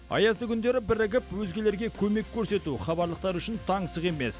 аязды күндері бірігіп өзгелерге көмек көрсету хабарлықтар үшін таңсық емес